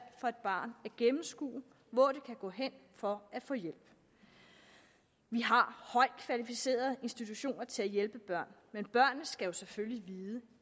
for et barn at gennemskue hvor det kan gå hen for at få hjælp vi har højt kvalificerede institutioner til at hjælpe børn men børnene skal jo selvfølgelig vide